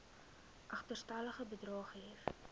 agterstallige bedrae gehef